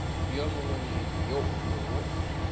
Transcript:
wo mongwe le wo mongwe